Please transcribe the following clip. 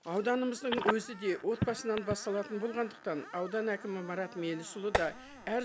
ауданымыздың өзі де отбасынан басталатын болғандықтан аудан әкімі марат мелісұлы да әр